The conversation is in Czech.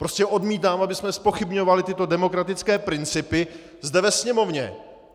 Prostě odmítám, abychom zpochybňovali tyto demokratické principy zde ve Sněmovně.